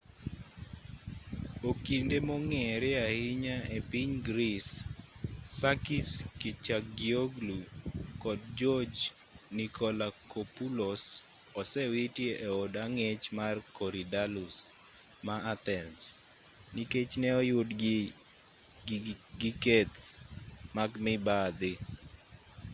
okinde mong'ere ahinya epiny greece sakis kechagioglou kod george nikolakopoulos osewiti e od ang'ech mar korydallus ma athens nikech ne oyudgi gi keth mag mibadhi